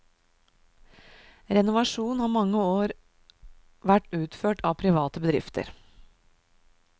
Renovasjon har mange år vær utført av private bedrifter.